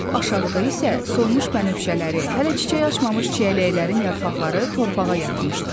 Lap aşağıda isə solmuş bənövşələri, hələ çiçək açmamış çiyələklərin yarpaqları torpağa yatmışdı.